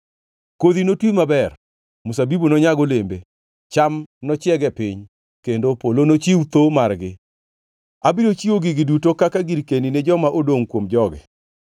“Kodhi notwi maber, mzabibu nonyag olembe, cham nochieg e piny, kendo polo nochiw tho margi. Abiro chiwo gigi duto kaka girkeni ni joma odongʼ kuom jogi.